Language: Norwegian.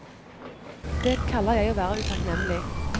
Det kaller jeg å være utakknemlig.